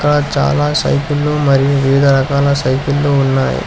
చాలా సైకిళ్ళు మరియు వివిధ రకాల సైకిల్ లో ఉన్నాయి.